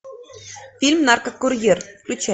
фильм наркокурьер включай